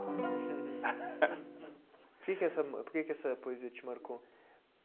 Que que essa por que que essa poesia te marcou?